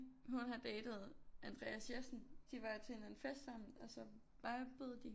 Hun har datet Andreas Jessen de var til en fest sammen og så vibede de